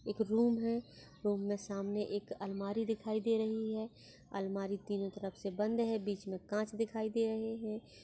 एक रूम है रूम मे सामने एक अलमारी दिखाई दे रही है अलमारी एक तरफ से बंद है बीच मई काच दिखाई दे रही है।